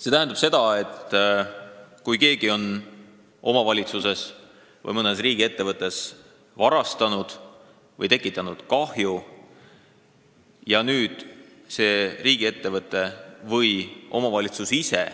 See tähendab seda, et kui keegi on omavalitsuses või mõnes riigiettevõttes varastanud või tekitanud kahju ja see riigiettevõte või omavalitsus ise